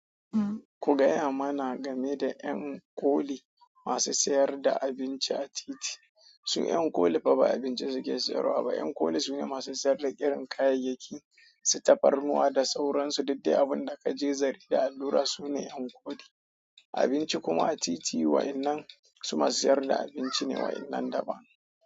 Ku gaya mana game da 'yan koli masu sayar da abinci a titi. Sun 'yan koli fa ba abincin suke siyarwa ba. 'Yan koli su ne masu siyar da irin kayayyaki, si tafarnuwa da sauransu. Dedde abun da ka je zari da allura su ne 'yan koli. Abinci kuma a titi wa'innan su masu sayar da abinci ne wayen nan daban.